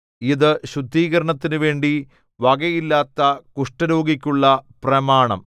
ഇതു ശുദ്ധീകരണത്തിനുവേണ്ടി വകയില്ലാത്ത കുഷ്ഠരോഗിക്കുള്ള പ്രമാണം